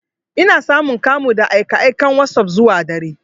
Ina samun kamu da aika aikan wasop zuwa dare.